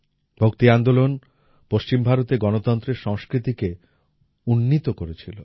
ভক্তি আন্দোলন পশ্চিম ভারতে গণতন্ত্রের সংস্কৃতিকে উন্নীত করেছিল